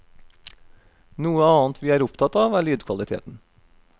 Noe annet vi er opptatt av er lydkvaliteten.